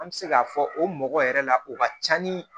An bɛ se k'a fɔ o mɔgɔ yɛrɛ la o ka ca ni